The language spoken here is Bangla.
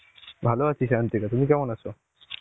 ভালো আছি সায়ান্তিকা. তুমি কেমন আছে৷?